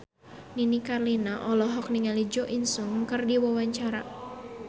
Nini Carlina olohok ningali Jo In Sung keur diwawancara